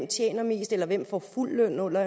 tjener mest eller hvem på fuld løn under